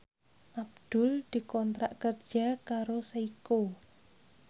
Abdul dikontrak kerja karo Seiko